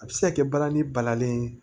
A bɛ se ka kɛ balani balalen ye